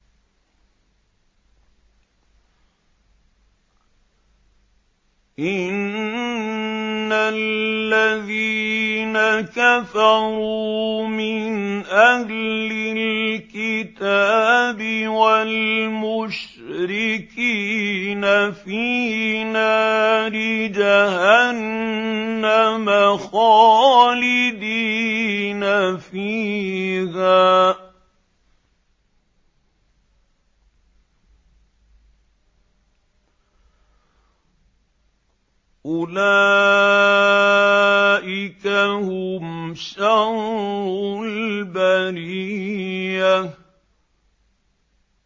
إِنَّ الَّذِينَ كَفَرُوا مِنْ أَهْلِ الْكِتَابِ وَالْمُشْرِكِينَ فِي نَارِ جَهَنَّمَ خَالِدِينَ فِيهَا ۚ أُولَٰئِكَ هُمْ شَرُّ الْبَرِيَّةِ